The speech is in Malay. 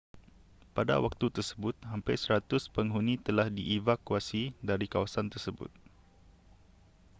pada waktu tersebut hampir 100 penghuni telah dievakuasi dari kawasan tersebut